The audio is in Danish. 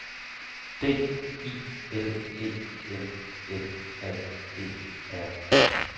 D I L E M M A E R